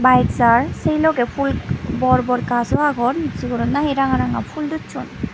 bayek jaar se logey phul bor bor gajo agon jiyot nahi ranga ranga phul docchon.